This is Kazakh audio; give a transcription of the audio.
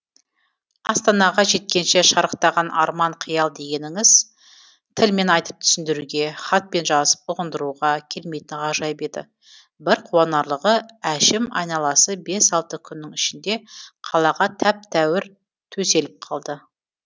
астанаға жеткенше шарықтаған арман қиял дегеніңіз тілмен айтып түсіндіруге хатпен жазып ұғындыруға келмейтін ғажайып еді бір қуанарлығы әшім айналасы бес алты күннің ішінде қалаға тәп тәуір төселіп қалды